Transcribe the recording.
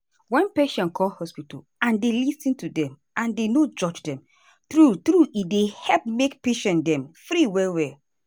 wen patient come hospital and dem lis ten to dem and dem no judge dem true truee dey help make patient dem free well well.